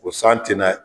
O san tina